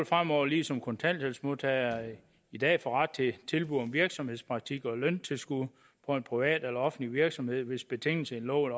fremover ligesom kontanthjælpsmodtagere i dag få ret til tilbud om virksomhedspraktik og løntilskud på en privat eller offentlig virksomhed hvis betingelserne i loven